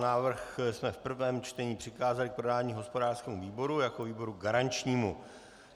Návrh jsme v prvém čtení přikázali k projednání hospodářskému výboru jako výboru garančnímu.